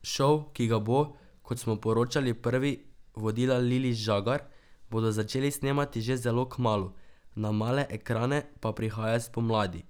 Šov, ki ga bo, kot smo poročali prvi, vodila Lili Žagar, bodo začeli snemati že zelo kmalu, na male ekrane pa prihaja spomladi.